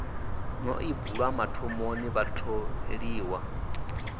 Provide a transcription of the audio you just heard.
no ḓi bulwa mathomoni vhatholiwa